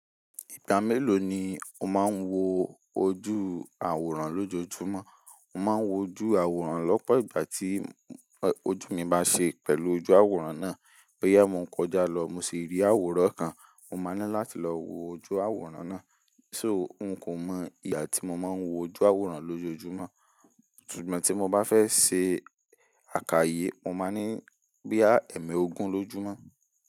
Ìgbà mélòó ni o máa ń wo ojú àwòrán lójoojúmọ́? Mo máa ń wo ojú àwòrán lọ́pọ̀ ìgbà tí ojú mi bá ṣe pẹ̀lú ojú àwòrán náà. Bóyá mo ń kọjá lọ mo sì rí àwòrán kan, mo máa ní láti lọ wo ojú àwòrán náà. So n kò mọ ìgbà tí mo máa wo ojú àwòrán lójoojúmọ́. Súgbọ̀n tí mo bá fẹ́ ṣe àkayé, mo máa ní bóyá èèmẹ ogún lójúmọ́.